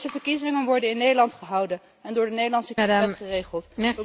Deze verkiezingen worden in Nederland gehouden en door de Nederlandse kieswet geregeld.